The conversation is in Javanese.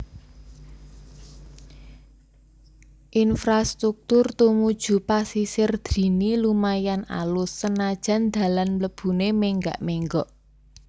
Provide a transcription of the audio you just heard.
Infrastruktur tumuju Pasisir Drini lumayan alus senajan dalan mlebune menggak menggok